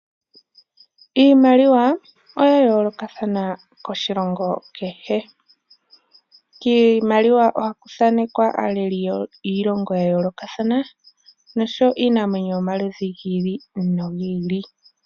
Iimaliwa oya yoolokathana koshilongo kehe. Kiimaliwa ohaku thanekwa aaleli yiilongo ya yoolokatha, nosho wo iinamwenyo yomaludhi giili nogiili.